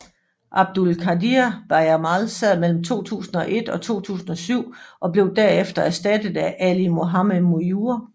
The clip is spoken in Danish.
Abdul Qadir Bajamal sad mellem 2001 og 2007 og blev der efter erstattet af Ali Mohammed Mujur